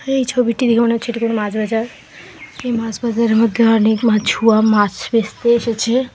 এই ছবিটি দেখে মনে হচ্ছে এটি কোনো মাছ বাজার । এই মাছ বাজারের মধ্যে অনেক মাছুয়া মাছ বেচতে এসেছে।